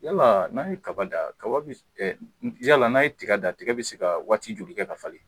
Yalaa n'a' ye kaba da, kaba bi s yala n'a' ye tiga da tiga bɛ se kaa waati joli kɛ ka falen?